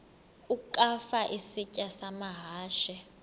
ukafa isitya amahashe